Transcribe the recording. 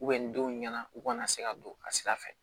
nin denw ɲɛna u kana se ka don a sira fɛ